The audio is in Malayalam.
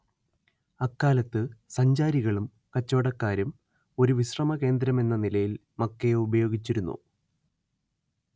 അക്കാലത്ത് സഞ്ചാരികളും കച്ചവടക്കാരും ഒരു വിശ്രമ കേന്ദ്രമെന്ന നിലയിൽ മക്കയെ ഉപയോഗിച്ചിരുന്നു